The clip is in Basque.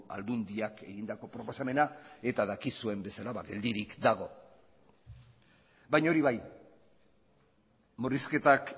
aldundiak egindako proposamena eta dakizuen bezala geldirik dago baina hori bai murrizketak